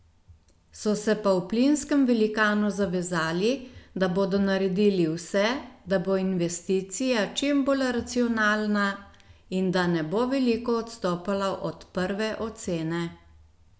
So se pa v plinskem velikanu zavezali, da bodo naredili vse, da bo investicija čim bolj racionalna in da ne bo veliko odstopala od prve ocene.